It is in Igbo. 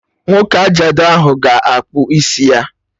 Nwoke ajadu ahụ ga-akpụ isi ya!